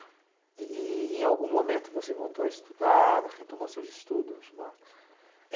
E e em algum momento você voltou a estudar, retomou seus estudos, Marcos?